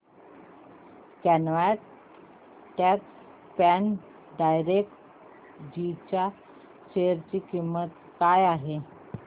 quant tax plan direct G च्या share ची किंमत काय आहे